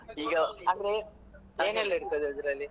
ಏನೆಲ್ಲ ಇರ್ತದೆ ಅದ್ರಲ್ಲಿ ?